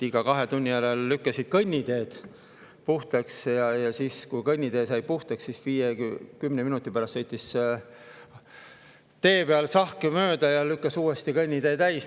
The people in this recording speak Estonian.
Iga kahe tunni järel lükkasin kõnnitee puhtaks ja siis, kui kõnnitee sai puhtaks, sõitis 5–10 minuti pärast tee peal sahk mööda ja lükkas kõnnitee uuesti täis.